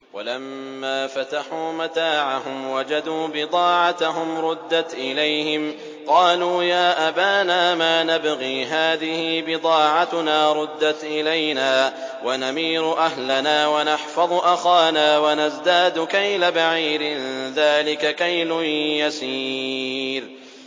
وَلَمَّا فَتَحُوا مَتَاعَهُمْ وَجَدُوا بِضَاعَتَهُمْ رُدَّتْ إِلَيْهِمْ ۖ قَالُوا يَا أَبَانَا مَا نَبْغِي ۖ هَٰذِهِ بِضَاعَتُنَا رُدَّتْ إِلَيْنَا ۖ وَنَمِيرُ أَهْلَنَا وَنَحْفَظُ أَخَانَا وَنَزْدَادُ كَيْلَ بَعِيرٍ ۖ ذَٰلِكَ كَيْلٌ يَسِيرٌ